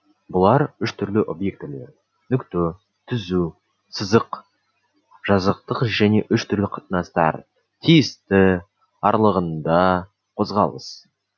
бұлар үш түрлі объектілер нүкте түзу сызық жазықтық және үш түрлі қатынастар тиісті аралығында қозғалыс